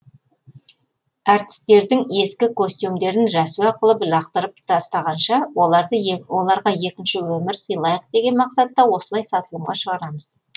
әртістердің ескі костюмдерін рәсуа қылып лақтырып тастағанша оларға екінші өмір сыйлайық деген мақсатта осылай сатылымға шығарамыз